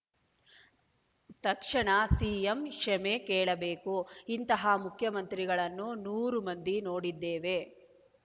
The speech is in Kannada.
ತಕ್ಷಣ ಸಿಎಂ ಕ್ಷಮೆ ಕೇಳಬೇಕು ಇಂತಹ ಮುಖ್ಯಮಂತ್ರಿಗಳನ್ನು ನೂರು ಮಂದಿ ನೋಡಿದ್ದೇವೆ